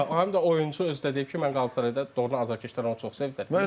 Həm də oyunçu özü deyib ki, mən Qalatasarayda doğrudan azərkeşlər onu çox sevdilər.